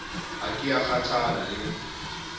ha ke a kgathala le